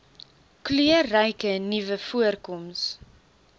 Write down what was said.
kleurryke nuwe voorkoms